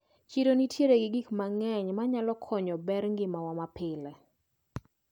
Chiro nitiere gi gikmang`eny manyalo konyo bero ngimawa mapile.